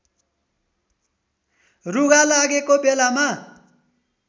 रुघा लागेको बेलामा